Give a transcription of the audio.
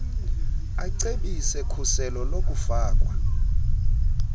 acebise khuselo lokufakwa